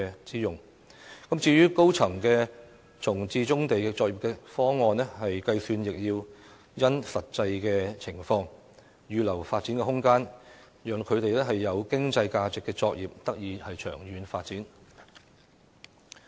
至於以多層樓宇容納棕地作業的方案，當局應因應實際情況作出計算，預留發展空間，讓具有經濟價值的作業得以長遠發展。